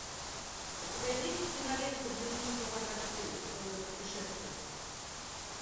у тебя есть кинолента дневник слабака четыре долгое путешествие